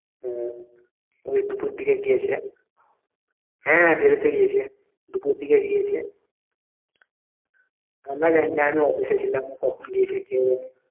হ্যাঁ ওই দুপুর দিকে গিয়েছে হ্যাঁ বেরোতে গিয়েছে দুপুর দিকে গিয়েছে আমরা জানি না আমি office এ ছিলাম কখন গেছে কে জানে